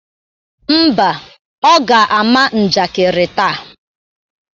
Ḿbà, Ọ ga-ama njakịrị taa.